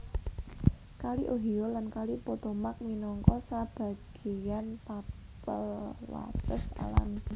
Kali Ohio lan Kali Potomac minangka sebagéyan tapel wates alami